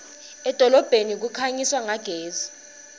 edolobheni kukhanyiswa ngagesi